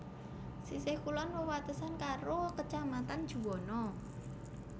Sisih kulon wewatesan karo Kacamatan Juwana